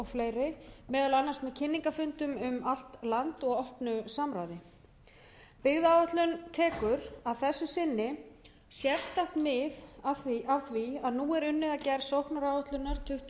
fleiri meðal annars með kynningarfundum um allt land og opnu samráði byggðaáætlun tekur að þessu sinni sérstakt mið af því að nú er unnið að gerð sóknaráætlunar tuttugu